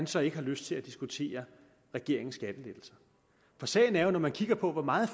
så ikke har lyst til at diskutere regeringens skattelettelser sagen er jo at når man kigger på hvor meget